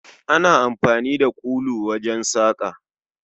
Ana amfani da kulu wajen saƙa